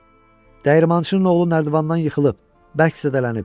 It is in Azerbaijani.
Dəyirmançının oğlu nərdivandan yıxılıb, bərk zədələnib.